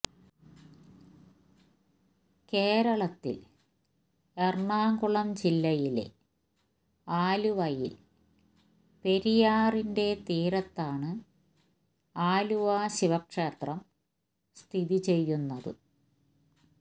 കേരളത്തിൽ എറണാകുളം ജില്ലയിലെ ആലുവയിൽ പെരിയാറിന്റെ തീരത്താണ് ആലുവ ശിവക്ഷേത്രം സ്ഥിതിചെയ്യുന്നത്